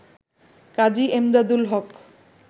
কাজী Emdadul হক